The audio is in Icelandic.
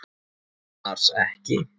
Annars ekki.